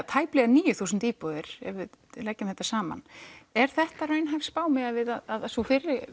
tæplega níu þúsund íbúðir ef við leggjum þetta saman er þetta raunhæf spá miðað við að sú fyrri